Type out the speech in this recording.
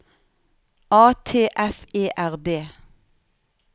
A T F E R D